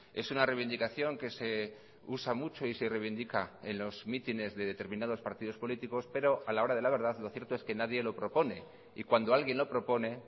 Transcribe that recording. es una reivindicación que se usa mucho y se reivindica en los mítines de determinados partidos políticos pero a la hora de la verdad lo cierto es que nadie lo propone y cuando alguien lo propone